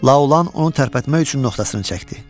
Laolan onu tərpətmək üçün noxtasını çəkdi.